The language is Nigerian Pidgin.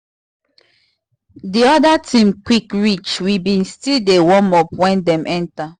the other team quick reach we been still dey warm up when dem enter